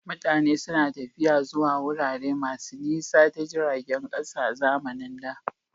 Mutane suna tafiya zuwa wurare masu nisa ta jiragen ƙasa a zamanin da.